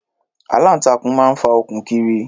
Aláǹtakùn máa ń fa okùn kiri.